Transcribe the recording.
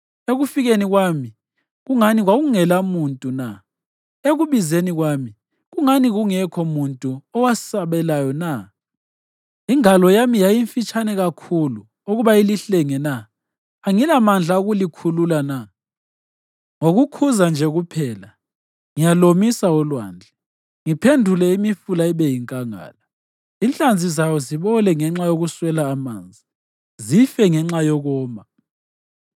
Ekufikeni kwami, kungani kwakungelamuntu na? Ekubizeni kwami, kungani kungekho muntu owasabelayo na? Ingalo yami yayimfitshane kakhulu ukuba ilihlenge na? Angilamandla okulikhulula na? Ngokukhuza nje kuphela, ngiyalomisa ulwandle, ngiphendule imifula ibe yinkangala; inhlanzi zayo zibole ngenxa yokuswela amanzi, zife ngenxa yokoma.